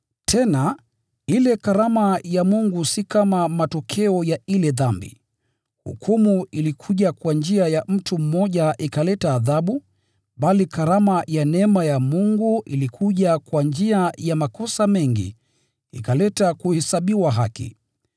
Tena, ile karama ya Mungu si kama matokeo ya ile dhambi. Hukumu ilikuja kwa njia ya mtu mmoja, ikaleta adhabu, bali karama ya neema ya Mungu ilikuja kwa njia ya makosa mengi, ikaleta kuhesabiwa haki.